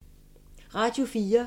Radio 4